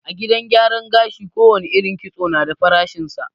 A gidan gyaran gashi ko wane irin kitso na da farashin sa